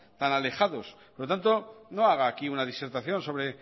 tan alejados por lo tanto no haga aquí una disertación sobre